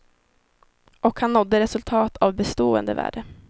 Och han nådde resultat av bestående värde.